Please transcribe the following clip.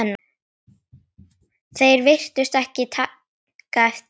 Þeir virtust ekki taka eftir